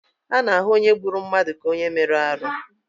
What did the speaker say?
A na-ahụ onye gburu mmadụ ka onye mere arụ.